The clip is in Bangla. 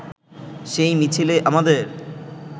সেই মিছিলে আমাদের